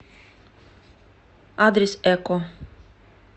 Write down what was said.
адрес эко